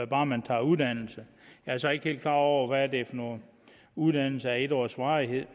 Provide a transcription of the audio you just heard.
bare man tager uddannelse jeg er så ikke helt klar over hvad det er for nogle uddannelser af en års varighed